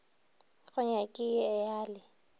go nyaki i a le